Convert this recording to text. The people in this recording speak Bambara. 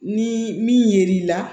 Ni min yer'i la